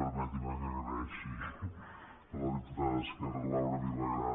permeti’m que agraeixi a la diputada d’esquerra laura vilagrà